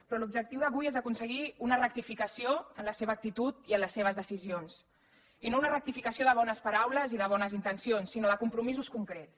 però l’objectiu d’avui és aconseguir una rectificació en la seva actitud i en les seves decisions i no una rectificació de bones paraules i de bones intencions sinó de compromisos concrets